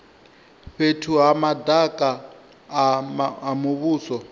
fhethu ha madaka a muvhuso